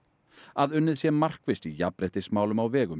að unnið sé markvisst í jafnréttismálum á vegum